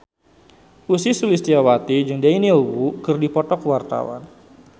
Ussy Sulistyawati jeung Daniel Wu keur dipoto ku wartawan